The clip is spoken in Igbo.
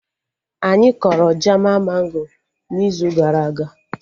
Anyị kọrọ jaman mango n'izu gara aga